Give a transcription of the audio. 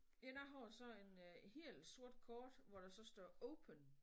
Ja jeg har så en øh helt sort kort hvor der så står open